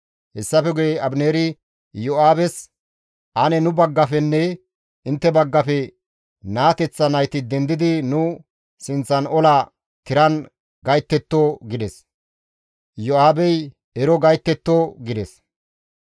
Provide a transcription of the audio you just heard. Hessafe guye Abineeri Iyo7aabes, «Ane nu baggafenne intte baggafe naateththa nayti dendidi nu sinththan ola tiran gayttetto» gides. Iyo7aabey, «Ero gayttetto» gides.